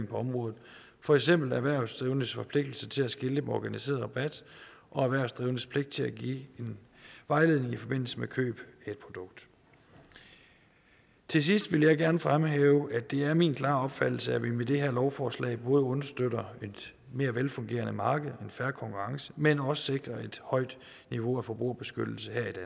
på området for eksempel erhvervsdrivendes forpligtigelse til at skilte med organiseret rabat og erhvervsdrivendes pligt til at give en vejledning i forbindelse med køb af et produkt til sidst vil jeg gerne fremhæve at det er min klare opfattelse at vi med det her lovforslag både understøtter et mere velfungerende marked og en fair konkurrence men også sikrer et højt niveau af forbrugerbeskyttelse her i